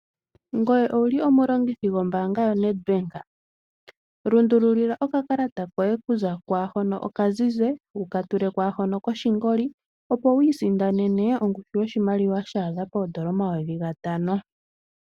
Ngoye owuli omulongithi gombaanga yo Netbank? Lundulilila oka kalata koye kuza kwaahono okazize wuka tule kwaahono koshingoli opo wu isindanene ongushu yoshimaliwa shaadha poondola N$5000.